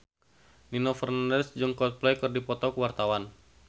Nino Fernandez jeung Coldplay keur dipoto ku wartawan